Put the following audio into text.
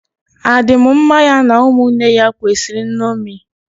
A dị m mmá ya na ụmụnne ya kwesịrị nnomi